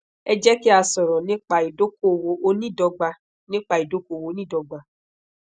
e je ki a soro nipa idokowo oniidogba nipa idokowo oniidogba